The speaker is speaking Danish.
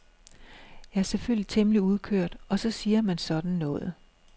Jeg er selvfølgelig temmelig udkørt og så siger man sådan noget.